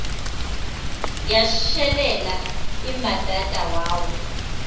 yashelela imbadada wawa